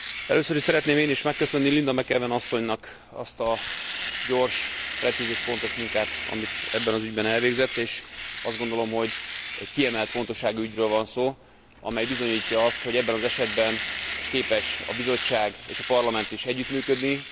Először is szeretném én is megköszönni Linda McAvan asszonynak azt a gyors, precíz és pontos munkát, amit ebben az ügyben végzett. És azt gondolom, hogy egy kiemelt fontosságú ügyről van szó, amely bizonyítja azt, hogy ebben az esetben képes a Bizottság és a Parlament is együttműködni.